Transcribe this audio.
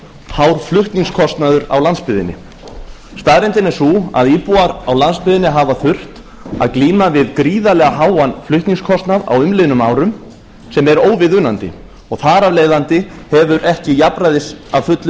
hár flutningskostnaður á landsbyggðinni staðreyndin er sú að íbúar í landsbyggðinni hafa þurft að glíma við gríðarlega háan flutningskostnað á umliðnum árum sem er óviðunandi og þar af leiðandi hefur ekki jafnræðis að fullu